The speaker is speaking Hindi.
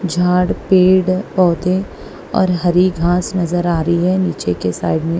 झाड़ पेड़ पौधे और हरी घास नजर आ रही है नीचे के साइड में।